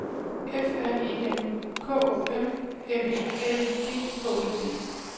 F R E M K O M M E L I G H E D